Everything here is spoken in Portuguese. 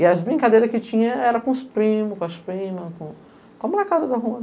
E as brincadeiras que tinha era com os primos, com as primas, com a molecada da rua.